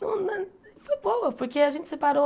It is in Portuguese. Foi boa, porque a gente separou...